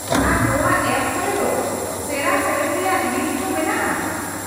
-ᱟᱨ ᱱᱚᱶᱟ ᱮᱯ ᱠᱚᱨᱮ ᱫᱚ ᱥᱮᱨᱶᱟ ᱥᱮᱹᱨᱮᱹᱧ ᱨᱮᱭᱟ ᱞᱤᱥᱴ ᱦᱚᱸ ᱢᱮᱱᱟᱜᱼᱟ ?